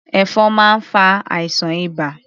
Ẹ̀fọn máa ń fa àìsàn ibà.